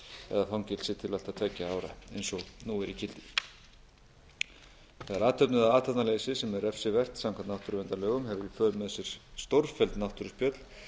eða fangelsi til allt að tveggja ára eins og nú er í gildi þegar athöfn eða athafnaleysi sem er refsivert samkvæmt náttúruverndarlögum hefur í för með sér stórfelld náttúruspjöll